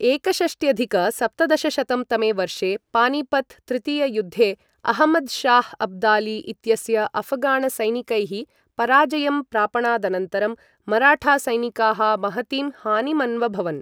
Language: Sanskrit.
एकषष्ट्यधिक सप्तदशशतं तमे वर्षे पानीपत तृतीययुद्धे अहमदशाह अब्दाली इत्यस्य अफगाणसैनिकैः पराजयं प्रापणादनन्तरं मराठा सैनिकाः महतीं हानिमन्वभवन्।